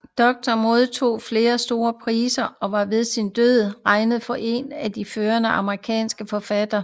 Doctorow modtog flere store priser og var ved sin død regnet for en af de førende amerikanske forfattere